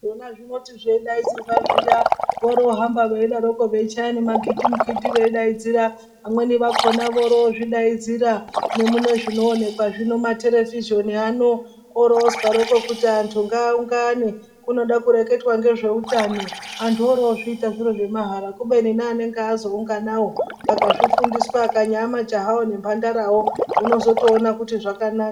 Zvona zvinoti zveidainzirwa zviya vorohambako veidaro veichaya magindimukindi veidaidzira vamweni vakona vorozvidaidzira nemunezvinoonekwa zvino materevhizhoni ano orozwaroko kuti antu ngaaungane kunode kureketwa ngezveutano antuborozviita zviro zvemahara kubeni neanange azounganawo akazvifundiswa akanyaa majahawo ngemhandarawo unozotoona kuti zvakanaka.